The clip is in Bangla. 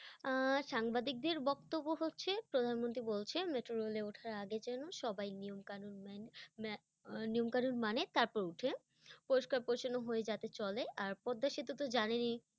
আহ সাংবাদিকদের বক্তব্য হচ্ছে প্রধানমন্ত্রী বলছেন metro rail ওঠার আগে যেন সবাই নিয়ম কানুন মেনে- মা- আহ নিয়ম কানুন মানে তারপর ওঠে, পরিষ্কার পরিচ্ছন্ন হয়ে যাতে চলে, আর পদ্মা সেতু তো জানেনই